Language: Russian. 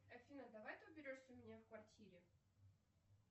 афина давай ты уберешься у меня в квартире